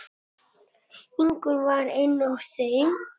Ingunn var ein af þeim.